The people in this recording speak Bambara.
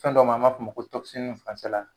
Fɛn dɔ ma b'a f'o ma ko tokisinifin faransɛ la